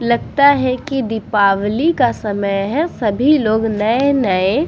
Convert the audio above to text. लगता है की दीपवाली का समय है सभी लोग नए-नए --